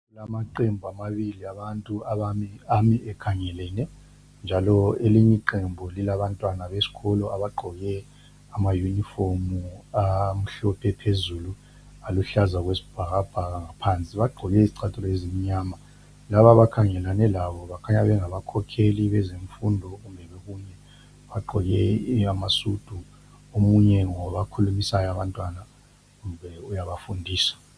Kulamaqembu amabili abantu ami bekhangelene njalo elinye lilabantwana besikolo abagqoke amayunifomu amhlophe phezulu aluhlaza okwesibhakabhaka ngaphansi. Bagqoke izichathulo ezimnyama. Laba abakhangelane labo kukhanya ngabakhokheli bezemfundo kumbe okunye bagqoke amasudu. Omunye ukhuluma labantwana ebafundisa.